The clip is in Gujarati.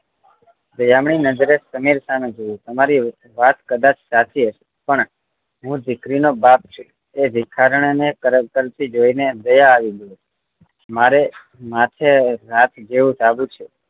દયામણી નજરે સમીર સામે જોયું તમારી વાત કદાચ સાચી હશે પણ હું દીકરી નો બાપ છું એ ભિખારણ ને કરગરતી જોઈ ને દયા આવી ગઈ મારે માથે રાત જેવું ચાલુ છે